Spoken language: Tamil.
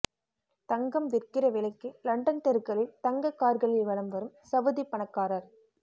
தங்கம் விற்கிற விலைக்கு லண்டன் தெருக்களில் தங்க கார்களில் வலம் வரும் சவுதி பணக்காரர்